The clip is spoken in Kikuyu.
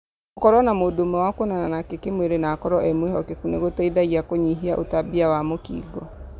Gũkorũo na mũndũ ũmwe wa kuonana nake kĩ mwĩrĩ na akorũo e-mwĩhokeku nĩgũteithagia kũnyihia ũtambia wa mũkingo